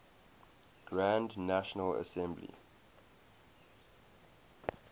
grand national assembly